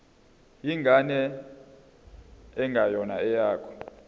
ingane engeyona eyakho